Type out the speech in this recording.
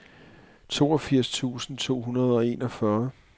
toogfirs tusind to hundrede og enogfyrre